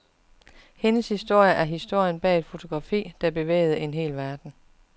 Hendes historie er historien bag et fotografi, der bevægede en hel verden.